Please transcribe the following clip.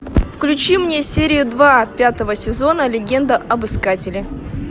включи мне серию два пятого сезона легенда об искателе